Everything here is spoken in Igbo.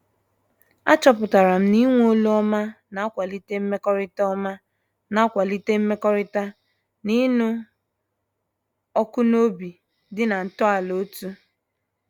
A chọpụtara m na-ịnwe olu ọma na-akwalite mmekọrịta ọma na-akwalite mmekọrịta na ịṅụ ọkụ na obi dị na ntọala otú.